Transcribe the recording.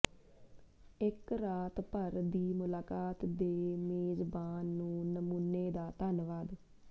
ਇੱਕ ਰਾਤ ਭਰ ਦੀ ਮੁਲਾਕਾਤ ਦੇ ਮੇਜ਼ਬਾਨ ਨੂੰ ਨਮੂਨੇ ਦਾ ਧੰਨਵਾਦ